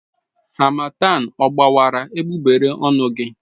Harmattan ọ gbawara egbugbere ọnụ gị?